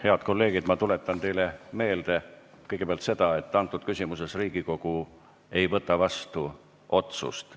Head kolleegid, ma tuletan teile meelde kõigepealt seda, et Riigikogu ei võta selles küsimuses vastu otsust.